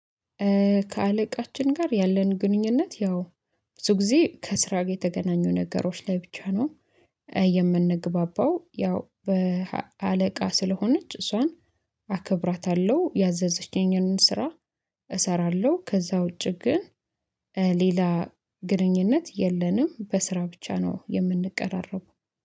ከአለቃችን ጋር ያለን ግንኙነት ያው ብዙ ጊዜ ከስራ ጋር የተገናኙ ነገሮች ላይ ብቻ ነው። የምንግባባው ያው በአለቃ ስለሆነች እሷን አከብራታለሁ ያዘዘችኝን ስራ። እሰራለሁ ከዛ ውጪ ግን ሌላ ግንኙነት የለንም በስራ ብቻ ነው የምንቀራረበው